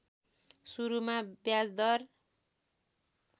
सुरूमा ब्याजदर